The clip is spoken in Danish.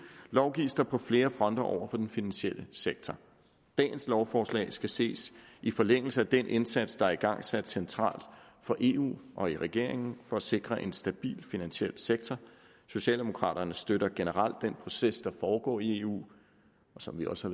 lovgives der på flere fronter over for den finansielle sektor dagens lovforslag skal ses i forlængelse af den indsats der er igangsat centralt i eu og i regeringen for at sikre en stabil finansiel sektor socialdemokraterne støtter generelt den proces der foregår i eu og som vi også